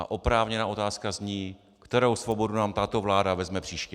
A oprávněná otázka zní, kterou svobodu nám tato vláda vezme příště.